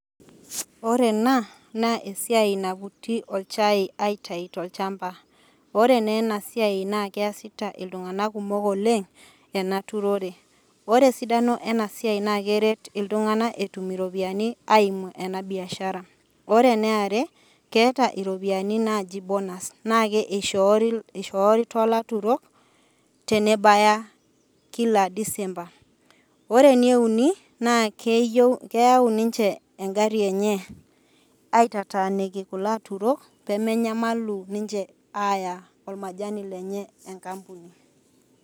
Ore ena naa esiai naputi olchai aitayu tolchamba , ore naa enasiai naa keasita iltunganak kumok oleng enaturore. Ore esidano enasiai naa keret iltunganak etum iropiyiani eimu enabiashara .Ore eniare keeta iropiyiani naji bonus naa ishoori , ishoori tolaturok tenebaya kila december. Ore eneuni naa keyieu, keyau ninche engari enye aitataniki kulo aturok pemenyamalu ninche aya ormajani lenye enkampuni.